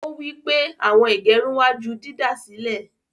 Ọ̀ wí pé awọn ìgẹ̀rùn wà jù dídásílẹ̀.